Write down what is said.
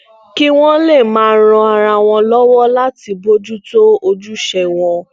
kí wón lè máa ran ara wọn lówó láti bójú tó ojúṣe wọn